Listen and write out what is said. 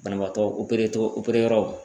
Banabaatɔ togo yɔrɔ